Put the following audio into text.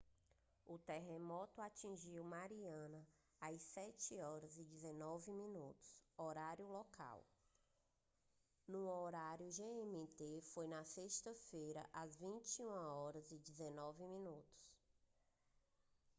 o terremoto atingiu mariana às 07h19min horário local. no horário gmt foi na sexta-feira às 21h19min